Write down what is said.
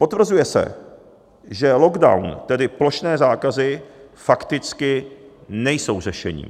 Potvrzuje se, že lockdown, tedy plošné zákazy, fakticky nejsou řešením.